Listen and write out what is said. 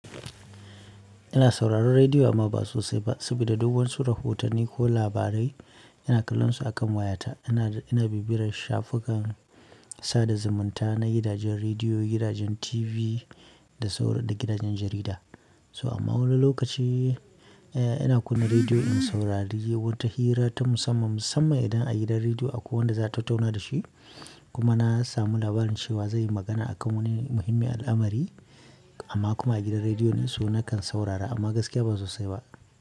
Ina sauraron rediyo amma ba sosai ba sabida duk wasu rahotan ni ko labarai ina kallon su akan wayata ina, ina bibiyar shafukan sada zumunta na gidajen rediyo, gidajen TV da saurar---da gidajen jarida. So amma wani lokaci, eh ina kunna rediyo in saurari wata hira ta musamman, musamman idan a gidan rediyo akwai wanda za a tattauna da shi. Kuma na samu labarin cewa zai yi magana a kan wani muhimmi al'amari amma kuma a gidan rediyo din su, nakan saurara amma gaskiya ba sosai ba.